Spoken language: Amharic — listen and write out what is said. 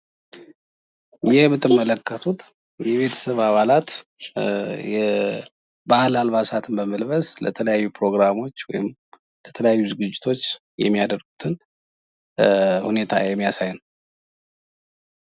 ይህ የምትመለከቱት የቤተሰብ አባላት የባህል አልባሳትን በመልበስ ለተለያዩ ፕሮግራሞች ወይም ለተለያዩ ዝግጅቶች የሚያደርጉትን ሁኔታ የሚያሳይ ነው።